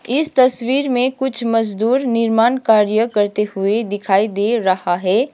इस तस्वीर में कुछ मजदूर निर्माण कार्य करते हुए दिखाई दे रहा है।